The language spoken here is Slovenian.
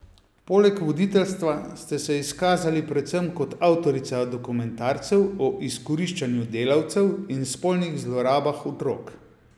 Poleg voditeljstva ste se izkazali predvsem kot avtorica dokumentarcev o izkoriščanju delavcev in spolnih zlorabah otrok.